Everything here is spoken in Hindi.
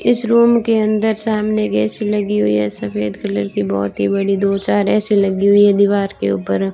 इस रूम के अंदर सामने गैस लगी हुई है सफेद कलर की बहोत ही बड़ी दो चार ए_सी लगी हुई है दीवार के ऊपर --